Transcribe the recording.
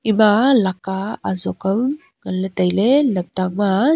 ema leka azok ang nganley tailey lamtang ma a.